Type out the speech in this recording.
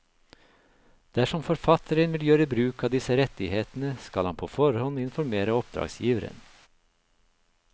Dersom forfatteren vil gjøre bruk av disse rettighetene, skal han på forhånd informere oppdragsgiveren.